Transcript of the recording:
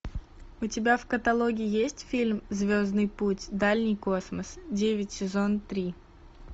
у тебя в каталоге есть фильм звездный путь дальний космос девять сезон три